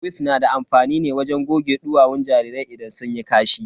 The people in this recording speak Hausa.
Wif na da amfani ne wajen goge duwawun jarirai idan sun yi kashi.